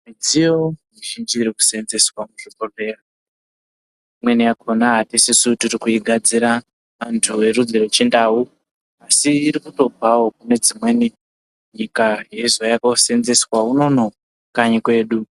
Midziyo mizhinji irikuseenzeswa muzvibhohleya, imweni yakona hatisisu tirikuigadzira antu erudzi rwechindau. Asi irikutobvawo kune dzimweni nyika yeizouya kuoseenzeswa unoono kanyi kwedu.